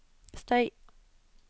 støy